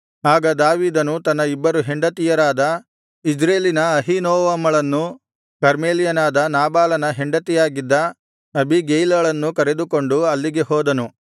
ಆಗ ದಾವೀದನು ತನ್ನ ಇಬ್ಬರು ಹೆಂಡತಿಯರಾದ ಇಜ್ರೇಲಿನ ಅಹೀನೋವಮಳನ್ನೂ ಕರ್ಮೇಲ್ಯನಾದ ನಾಬಾಲನ ಹೆಂಡತಿಯಾಗಿದ್ದ ಅಬೀಗೈಲಳನ್ನೂ ಕರೆದುಕೊಂಡು ಅಲ್ಲಿಗೆ ಹೋದನು